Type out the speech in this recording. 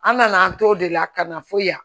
An nana an t'o de la ka na fo yan